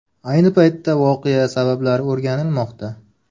Ayni paytda voqea sabablari o‘rganilmoqda.